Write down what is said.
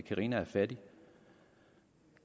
at carina er fattig